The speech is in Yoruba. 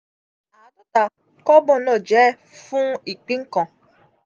aadota kobo na je fun ipin kan.